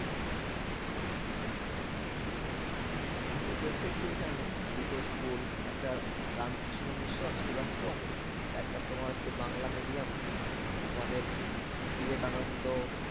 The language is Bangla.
আমিও দেখেছি এখানে দুটো school একটা রামকৃষ্ণ mission সেবাশ্রম একটা তোমার হচ্ছে বাংলা medium আমাদের বিবেকানন্দ